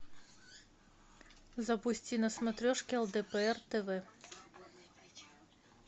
запусти на смотрешке лдпр тв